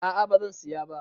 A'a bazan siya ba